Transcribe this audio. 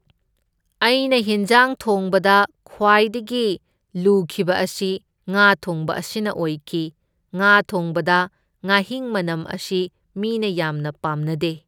ꯑꯩꯅ ꯍꯤꯟꯖꯥꯡ ꯊꯣꯡꯕꯗ ꯈ꯭ꯋꯥꯏꯗꯒꯤ ꯂꯨꯈꯤꯕ ꯑꯁꯤ ꯉꯥ ꯊꯣꯡꯕ ꯑꯁꯤꯅ ꯑꯣꯏꯈꯤ, ꯉꯥ ꯊꯣꯡꯕꯗ ꯉꯥꯍꯤꯡ ꯃꯅꯝ ꯑꯁꯤ ꯃꯤꯅ ꯌꯥꯝꯅ ꯄꯥꯝꯅꯗꯦ꯫